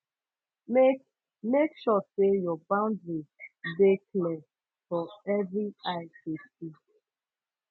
mek mek sure say your boundaries de clear for every eye tu see